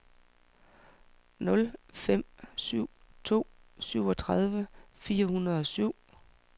nul fem syv to syvogtredive fire hundrede og syv